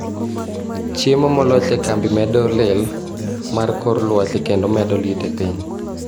chiemo molos e kambi medo lil mar kor lwasi kendo medo liet epiny.